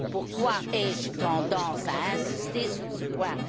Pourquoi ai je tendance à insister sur ce point?